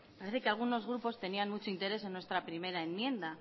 parece que algunos grupos tenían mucho interés en nuestra primera enmienda